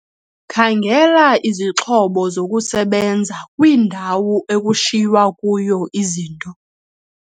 Khangela izixhobo zokusebenza kwindawo ekushiywa kuyo izinto.